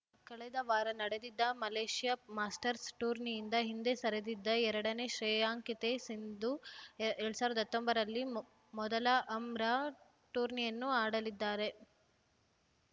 ಕಳೆದ ವಾರ ನಡೆದಿದ್ದ ಮಲೇಷ್ಯಾ ಮಾಸ್ಟರ್ಸ್‌ ಟೂರ್ನಿಯಿಂದ ಹಿಂದೆ ಸರಿದಿದ್ದ ಎರಡನೇ ಶ್ರೇಯಾಂಕಿತೆ ಸಿಂಧು ಎರಡ್ ಸಾವಿರದ ಹತ್ತೊಂಬತ್ತರಲ್ಲಿ ಮೊದಲ ಅಂರಾ ಟೂರ್ನಿಯನ್ನು ಆಡಲಿದ್ದಾರೆ